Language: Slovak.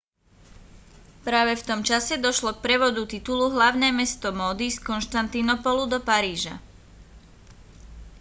práve v tom čase došlo k prevodu titulu hlavné mesto módy z konštantínopolu do paríža